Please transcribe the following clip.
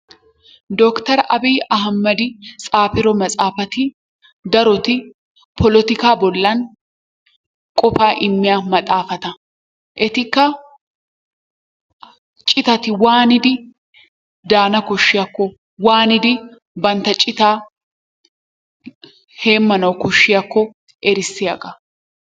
Dokiter aabiyi ahimadi xaafido maxaafati daroti polotikaa bollan qofaa immiya maxaafata. Etikka citati waanidi daana koshshiyakko waanidi bantta citaa heemmanawu koshshiyakko erissiyagaa.